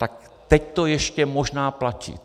Tak teď to ještě možná platí.